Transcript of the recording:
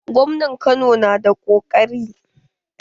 Gwamnan Kano na da ƙoƙari.